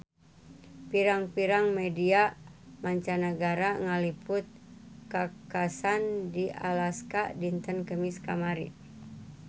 Pirang-pirang media mancanagara ngaliput kakhasan di Alaska dinten Kemis kamari